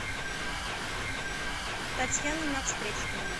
татьяна навстречкина